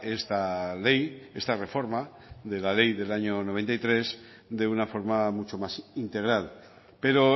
esta ley esta reforma de la ley del año noventa y tres de una forma mucho más integral pero